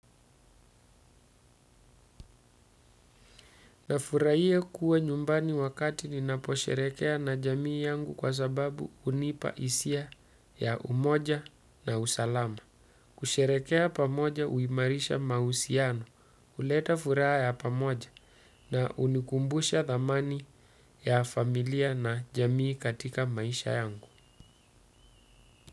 Nafurahia kuwa nyumbani wakati ninaposherehekea na jamii yamgu kwa sababu hunipa hisia ya umoja na usalama. Kusherehekea pamoja hiimarisha mahusiano, huleta furaha ya pamoja na hunikumbusha dhamani ya familia na jamii katika maisha yangu.